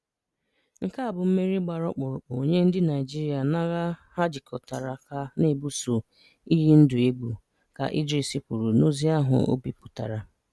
"Nke a bụ mmeri gbara ọkpụrụkpụ nye ndị Naịjirịa n'agha ha jikọtara aka na-ebuso iyi ndụ egwu," ka Idris kwuru n'ozi ahụ o bipụtara.